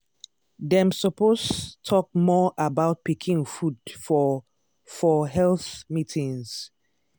dem suppose talk more about pikin food for for health meetings.